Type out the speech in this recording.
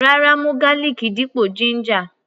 Rárá, mú garlic dípò ginger.